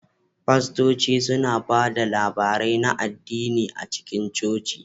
Fastoci suna ba da labarai na addini a cikin coci.